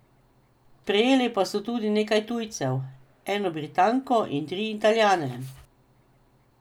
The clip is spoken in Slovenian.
Sprejeli pa so tudi nekaj tujcev, eno Britanko in tri Italijane.